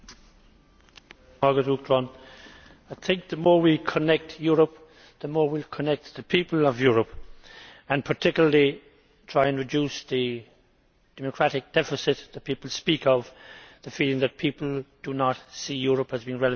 Madam President, the more we connect Europe, the more we will connect the people of Europe, particularly in trying to reduce the democratic deficit that people speak of and the feeling that people do not see Europe as being relevant to their lives.